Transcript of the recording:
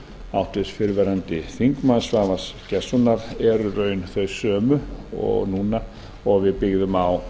háttvirtur fyrrverandi þingmaður svavars gestssonar eru í raun þau sömu núna og við byggðum á